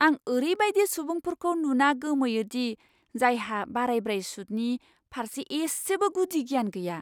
आं ओरैबायदि सुबुंफोरखौ नुना गोमोयो दि जायहा बारायब्राय सुदनि फारसे इसेबो गुदि गियान गैया!